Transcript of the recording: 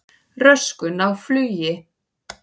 Röskun á flugi